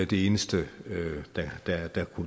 det eneste